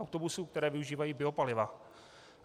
Autobusů, které využívají biopaliva.